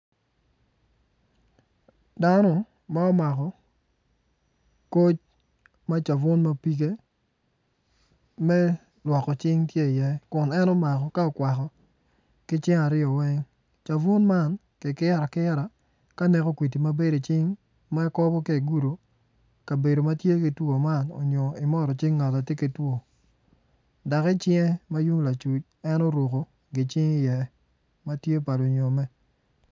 Dano ma omako koc ma cabun ma pige me lwoko cing tye iye kun en omako ka okwako cabun man kikiro akira ka neko kwidi ma bedo icing ka igudo kabedo ma tye ki two man onyo imoto cing ngat atye ki two dok icinge ma yung lacuc en oruko gi cing iye ma tye pa lunyomme.